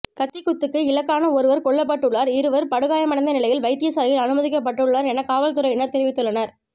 கத்திக்குத்துக்கு இலக்கான ஒருவர் கொல்லப்பட்டுள்ளார் இருவர் படுகாயமடைந்த நிலையில் வைத்தியசாலையில் அனுமதிக்கப்பட்டுள்ளனர் என காவல்துறையினர் தெரிவித்துள்ளனர்